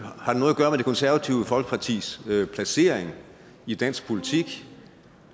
det konservative folkepartis placering i dansk politik